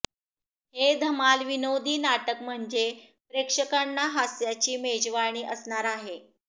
हे धमाल विनोदी नाटक म्हणजे प्रेक्षकांना हास्याची मेजवानी असणार आहे